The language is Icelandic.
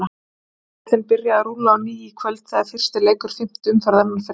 Landsbankadeildin byrjar að rúlla á ný í kvöld þegar fyrsti leikur fimmtu umferðar fer fram.